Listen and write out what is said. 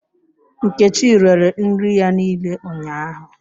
Nkechi rere nri ya niile ụnyahụ